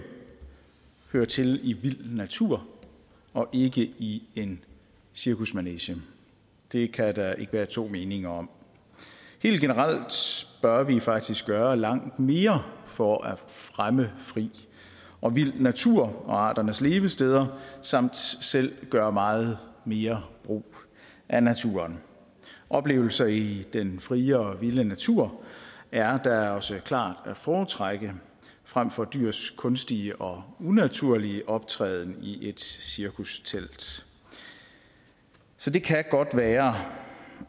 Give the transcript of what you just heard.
hører til i vild natur og ikke i en cirkusmanege det kan der ikke være to meninger om helt generelt bør vi faktisk gøre langt mere for at fremme fri og vild natur og arternes levesteder samt selv gøre meget mere brug af naturen oplevelser i den frie og vilde natur er da også klart at foretrække frem for dyrs kunstige og unaturlige optræden i et cirkustelt så det kan godt være